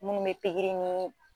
Munnu bɛ pikiri nin